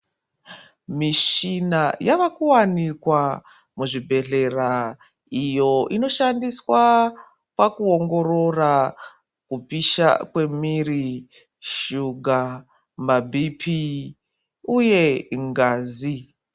Mishina yavakuwanikwa muzvibhehlera iyo inoshandiswa pakuongorora pa kupisha kwemwiri shuga, maBp uye ngazi.